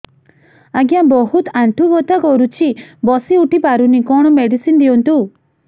ଆଜ୍ଞା ବହୁତ ଆଣ୍ଠୁ ବଥା କରୁଛି ବସି ଉଠି ପାରୁନି କଣ ମେଡ଼ିସିନ ଦିଅନ୍ତୁ